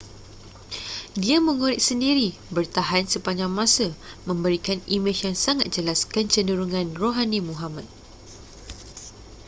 dia mengorek sendiri bertahan sepanjang masa memberikan imej yang sangat jelas kecenderungan rohani muhammad